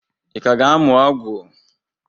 Ị ka ga-amụ ọgwụ?